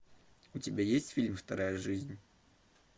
у тебя есть фильм вторая жизнь